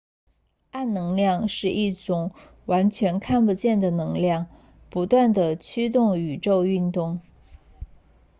暗能量是一种完全看不见的能量不断地驱动宇宙运动